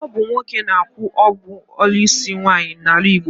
Ọ bụ nwoke na-akwụ ọgwụ isi nwaanyị n'ala Igbo.